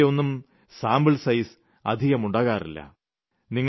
എന്നാൽ അതിന്റെയൊന്നും സാമ്പിൾസൈസ് അധികമുണ്ടാകാറില്ല